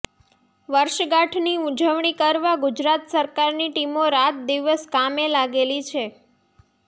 વર્ષગાંઠની ઉજવણી કરવા ગુજરાત સરકારની ટીમો રાત દિવસ કામે લાગેલી છે